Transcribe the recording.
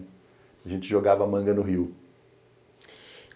A gente jogava manga no rio.